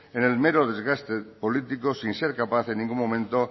en el mero desgaste político sin ser capaz en ningún momento